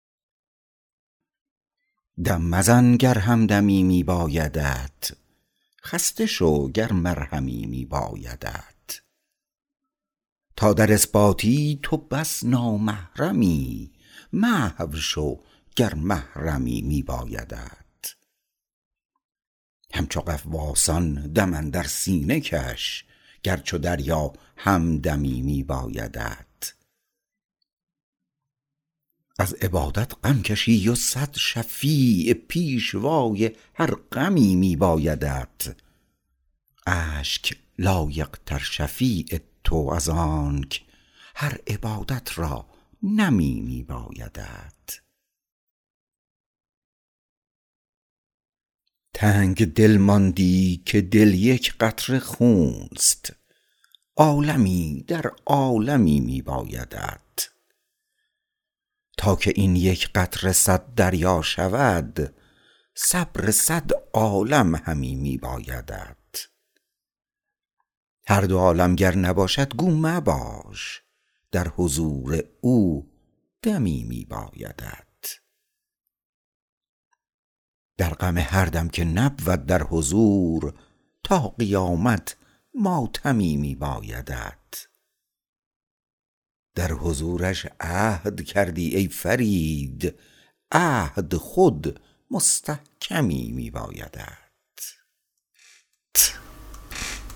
دم مزن گر همدمی می بایدت خسته شو گر مرهمی می بایدت تا در اثباتی تو بس نامحرمی محو شو گر محرمی می بایدت همچو غواصان دم اندر سینه کش گر چو دریا همدمی می بایدت از عبادت غم کشی و صد شفیع پیشوای هر غمی می بایدت اشک لایق تر شفیع تو از آنک هر عبادت را نمی می بایدت تنگدل ماندی که دل یک قطره خونست عالمی در عالمی می بایدت تا که این یک قطره صد دریا شود صبر صد عالم همی می بایدت هر دو عالم گر نباشد گو مباش در حضور او دمی می بایدت در غم هر دم که نبود در حضور تا قیامت ماتمی می بایدت در حضورش عهد کردی ای فرید عهد خود مستحکمی می بایدت